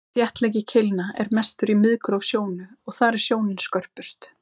þéttleiki keilna er mestur í miðgróf sjónu og þar er sjónin skörpust